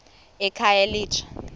ekhayelitsha